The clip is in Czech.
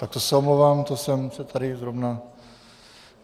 Tak to se omlouvám, to jsem se tady zrovna...